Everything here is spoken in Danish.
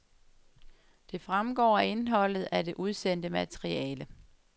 Det fremgår af indholdet af det udsendte materiale.